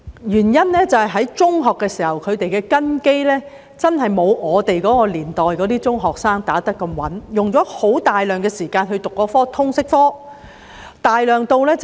原因是在中學時，學生的根基真的沒有我們那年代的中學生打得這麼穩，用了大量時間修讀通識科。